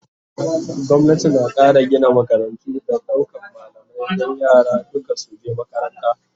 gwamnati na Kara Gina makarantu da daukan malamai Dan yara duka su je makaranta